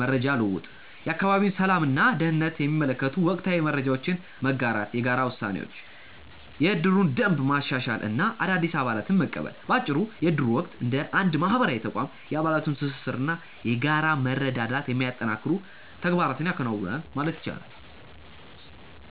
መረጃ ልውውጥ፦ የአካባቢውን ሰላም እና ደህንነት የሚመለከቱ ወቅታዊ መረጃዎችን መጋራት። የጋራ ውሳኔዎች፦ የእድሩን ደንብ ማሻሻል እና አዳዲስ አባላትን መቀበል። ባጭሩ የእድሩ ወቅት እንደ አንድ ማህበራዊ ተቋም የአባላቱን ትስስር እና የጋራ መረዳዳት የሚያጠናክሩ ተግባራትን ያከናውናል ማለት ይቻላል።